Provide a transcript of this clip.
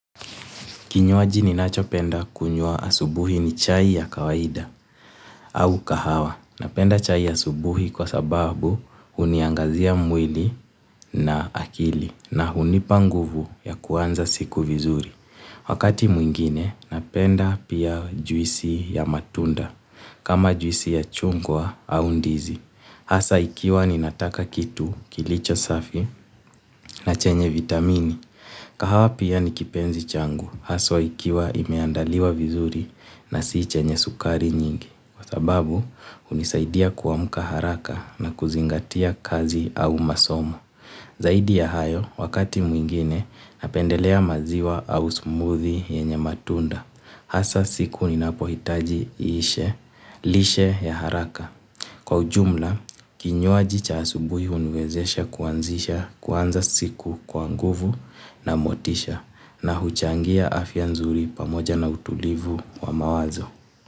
Kinywaji ninachopenda kunywa asubuhi ni chai ya kawaida au kahawa. Napenda chai ya asubuhi kwa sababu huniangazia mwili na akili na hunipa nguvu ya kuanza siku vizuri. Wakati mwingine napenda pia juisi ya matunda kama juisi ya chungwa au ndizi. Hasa ikiwa ninataka kitu kilicho safi na chenye vitamini. Kahawa pia ni kipenzi changu, hasa ikiwa imeandaliwa vizuri na si chenye sukari nyingi, kwa sababu hunisaidia kuamka haraka na kuzingatia kazi au masomo. Zaidi ya hayo, wakati mwingine napendelea maziwa au smoothie yenye matunda, hasa siku ninapohitaji lishe, lishe ya haraka. Kwa ujumla, kinywaji cha asubuhi huniwezesha kuanzisha kuanza siku kwa nguvu na motisha na huchangia afya nzuri pamoja na utulivu wa mawazo.